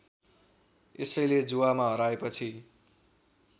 यसैले जुवामा हराएपछि